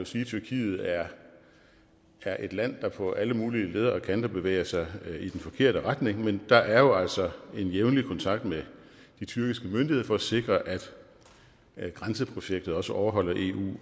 sige at tyrkiet er er et land der på alle mulige leder og kanter bevæger sig i den forkerte retning men der er jo altså en jævnlig kontakt med de tyrkiske myndigheder for at sikre at grænseprojektet også overholder eu